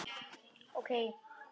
Ég gat ekki sagt nei.